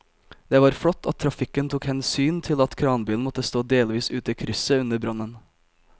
Det var flott at trafikken tok hensyn til at kranbilen måtte stå delvis ute i krysset under brannen.